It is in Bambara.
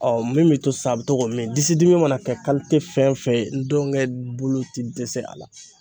min be to sa a be to k'o min. Disi dimi mana kɛ fɛn fɛn ye ndɔŋɛ bulu ti dɛsɛ a la.